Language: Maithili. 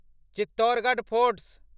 चित्तोरगढ फोर्ट